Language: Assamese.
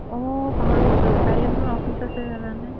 অ', পাহৰি গৈছিলো কাইলে মোৰ office আছে জানানে